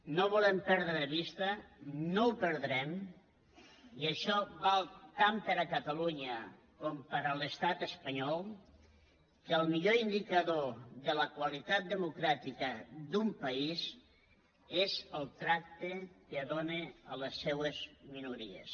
no volem perdre de vista no ho perdrem i això val tant per a catalunya com per a l’estat espanyol que el millor indicador de la qualitat democràtica d’un país és el tracte que dona a les seues minories